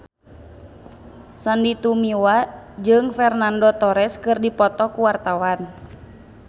Sandy Tumiwa jeung Fernando Torres keur dipoto ku wartawan